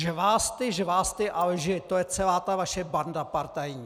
Žvásty, žvásty a lži, to je celá ta vaše banda partajní!